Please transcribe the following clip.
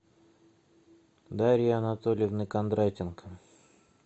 дарьи анатольевны кондратенко